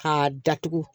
K'a datugu